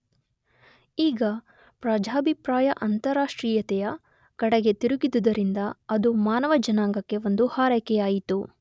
ಈಗ ಪ್ರಜಾಭಿಪ್ರಾಯ ಅಂತಾರಾಷ್ಟ್ರೀಯತೆಯ ಕಡೆಗೆ ತಿರುಗಿದುದರಿಂದ ಅದು ಮಾನವ ಜನಾಂಗಕ್ಕೆ ಒಂದು ಹಾರೈಕೆಯಾಯಿತು.